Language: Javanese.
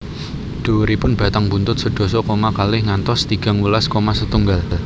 Dhuwuripun batang buntut sedasa koma kalih ngantos tigang welas koma setunggal